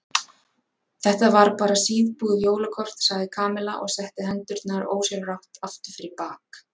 Þetta var bara síðbúið jólakort sagði Kamilla og setti hendurnar ósjálfrátt aftur fyrir bak.